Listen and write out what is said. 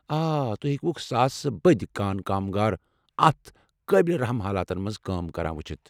آ، توہہِ ہیكِوٗكھ ساسہٕ بٕدۍ كانہٕ كامگار اتھ قٲبلہِ رحم حالاتن منز كٲم كران وُچُھتھ ۔